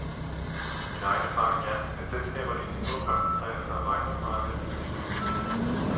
Min egen erfaring er, at selskaberne indtil nu har koncentreret sig om ejendomsmarkedet, når de skulle investere.